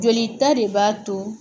Joli ta de b'a to